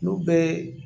N'u bɛɛ